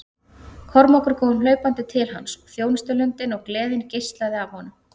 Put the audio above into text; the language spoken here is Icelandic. Kormákur kom hlaupandi til hans og þjónustulundin og gleðin geislaði af honum.